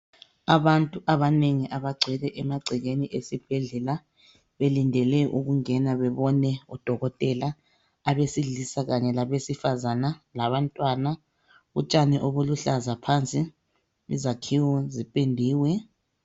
Abantu abanengi abagcwele emagcekeni esibhedlela belindele ukungena bebone udokotela, abesilisa kanye labesifane labantwana, utshani obuluhlaza phansi izakhiwo zipendiwe.